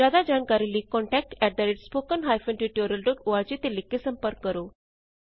ਜਿਆਦਾ ਜਾਣਕਾਰੀ ਲਈ ਕੰਟੈਕਟ spoken tutorialorg ਤੇ ਲਿਖ ਕੇ ਸੰਪਰਕ ਕਰੋ